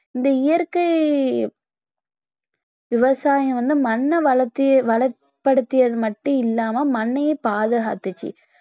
இந்த இயற்கை விவசாயம் வந்து மண்ணை வளத்~ வளப்படுத்தியது மட்டும் இல்லாம மண்ணையும் பாதுகாத்துச்சு